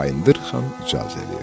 Bayındır Xan icazə verdi.